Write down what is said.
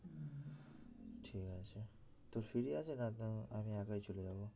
তোর free আছে নয়ত আমি একাই চলে যাবো